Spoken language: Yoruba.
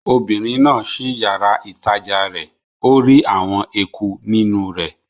Obìnrin náà ṣí yàrá-ìtajà rẹ̀ ó rí àwọn eku nínú rẹ̀